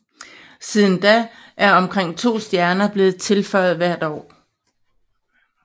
Siden da er omkring to stjerner blevet tilføjet hver måned